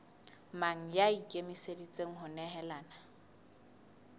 mang ya ikemiseditseng ho nehelana